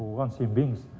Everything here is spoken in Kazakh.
оған сенбеңіз